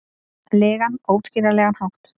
legan, óútskýranlegan hátt.